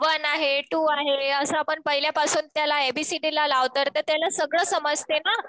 One आहे two आहे असं आपण पहिल्यापासून त्याला ए बी सी डी ला लावतोय तर त्याला सगळं समजतंय ना.